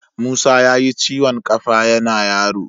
Musa yayi ciwon ƙafa yana yaro.